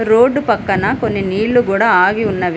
Road పక్కన కొన్ని నీళ్లు గూడా ఆగి ఉన్నవి.